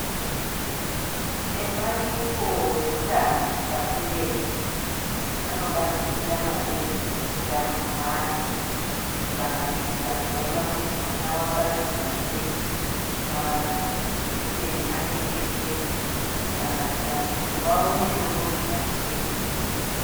Ebandiko reutano pashi reshe anobatikira maningi utano hwemwana kusanganisira kuona kuti mwana wabairwa ere majekiseni ake eshe kusanganisira nekuti waona chekurhya ere.